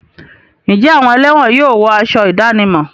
Ǹjẹ́ àwọn ẹlẹ́wọ̀n yóò wọ aṣọ ìdánimọ̀?